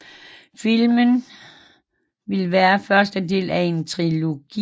Filmen ville være første del af en trilogi